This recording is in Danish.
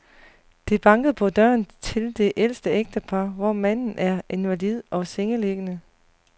Det bankede på døren til det ældre ægtepar, hvor manden er invalid og sengeliggende.